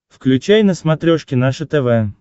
включай на смотрешке наше тв